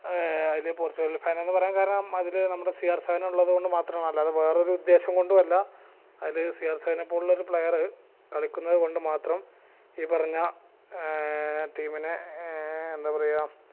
ഏർ അയില് Portugal fan എന്ന് പറയാൻ കാരണം അതില് നമ്മുടെ സി ആർ seven ഉള്ളത് കൊണ്ട് മാത്രമാണ് അല്ലാതെ വേറൊരു ഉദ്ദേശം കൊണ്ടു അല്ല അതില് സി ആർ seven പോലുള്ള ഒരു player കളിക്കുന്നത് കൊണ്ടുമാത്രം ഈ പറഞ്ഞ ഏർ team നെ ഏർ എന്തപറയ